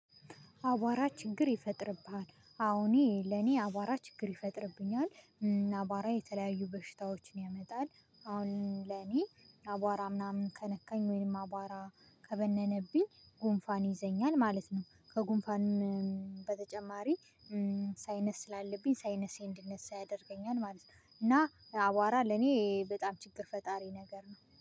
አቧራ ችግር ይፈጥርብሃል አዎ ለኔ አቧራ ችግር ይፈጥርብኛል። አቧራ የተለያዩ በሽታዎችን ያመጣል። አሁን ለኔ አቧራ ምናምን ከነካኝ ወይም አቧራ ከበነነብኝ ጉንፋን ይዘኛል ማለት ነው። ከጉንፋንም በተጨማሪ ሳይነስ ስላለብኝ ሳይነሴ እንድነሳ ያደርገኛል ማለት ነው። እና አቧራ ለኔ በጣም ችግር ፈጣሪ ነገር ነው